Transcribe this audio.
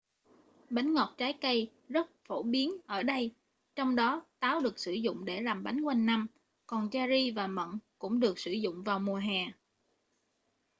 bánh ngọt trái cây rất phổ biến ở đây trong đó táo được sử dụng để làm bánh quanh năm còn cherry và mận cũng được sử dụng vào mùa hè